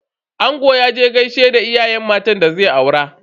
Angon ya je gaishe da iyayen matan da zai aura.